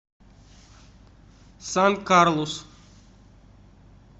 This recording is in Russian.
сан карлус